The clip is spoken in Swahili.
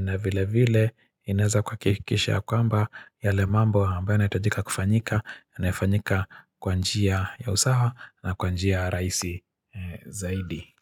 na vile vile inaweza kuhakikisha kwamba yale mambo ambayo ynaitajika kufanyika yanafanyika kwa njia ya usawa na kwa njia rahisi zaidi.